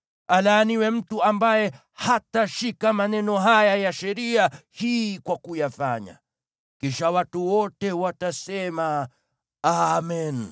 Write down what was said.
“Alaaniwe mtu yule ambaye hatashikilia maneno ya sheria hii kwa kuyatekeleza.” Kisha watu wote watasema, “Amen!”